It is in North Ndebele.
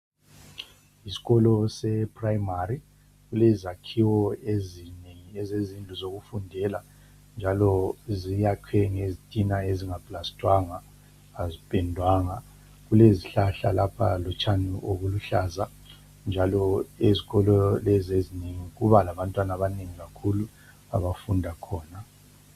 Isikolo sePrimary kulezakhiwo ezinengi ezezindlu zokufundela, njalo ziyakhwe ngezitina ezingaplastwanga, azipendwanga. Kulezihlahla lapha lotshani obuluhlaza. Njalo, ezikolo lezi ezinengi kuba labantwana abanengi kakhulu abafunda khona.